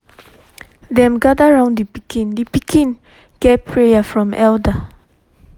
dem gather round the pikin the pikin get prayer from elder